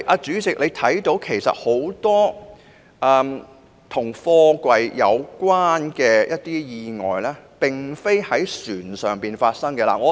主席，多宗與貨櫃有關的意外其實並非在船上發生的。